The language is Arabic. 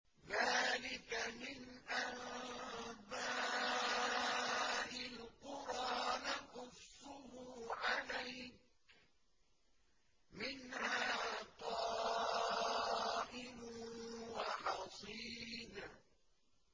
ذَٰلِكَ مِنْ أَنبَاءِ الْقُرَىٰ نَقُصُّهُ عَلَيْكَ ۖ مِنْهَا قَائِمٌ وَحَصِيدٌ